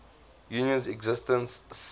union's existence surfaced